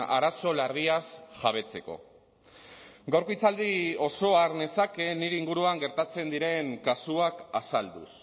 arazo larriaz jabetzeko gaurko hitzaldi osoa har nezake nire inguruan gertatzen diren kasuak azalduz